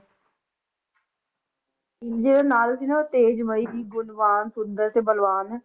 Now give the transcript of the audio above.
ਜਿਹੜੇ ਨਾਲ ਸੀ ਨਾ ਉਹ ਤੇਜਮਈ ਸੀ ਗੁਣਵਾਨ ਸੁੰਦਰ ਤੇ ਬਲਵਾਨ